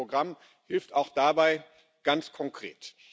Und dieses Programm hilft auch dabei ganz konkret.